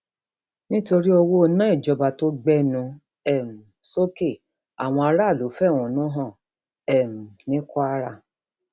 nítorí owó iná ìjọba tó gbẹnu um sókè àwọn aráàlú fẹhónú hàn um ní kwara